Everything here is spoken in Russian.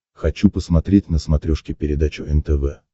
хочу посмотреть на смотрешке передачу нтв